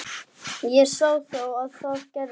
Ég sá þá og það gerði